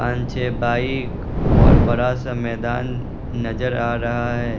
पान छे बाइक और बड़ा सा मैदान नजर आ रहा है।